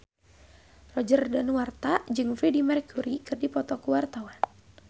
Roger Danuarta jeung Freedie Mercury keur dipoto ku wartawan